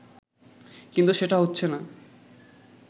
কিন্তু সেটা হচ্ছেনা